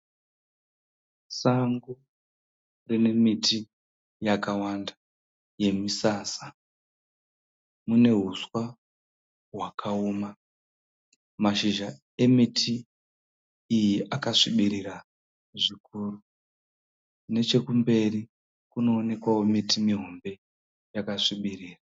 Sango rine miti yakawanda yemisasa. Mune huswa hwakaoma. Mashizha emiti iyi akasvibira zvikuru. Nechikumberi kunoonekwawo miti mihombe yakasvibirira.